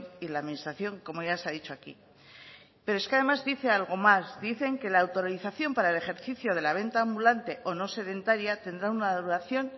y la administración como ya se ha dicho aquí pero es que además dice algo más dicen que la autorización para el ejercicio de la venta ambulante o no sedentaria tendrá una duración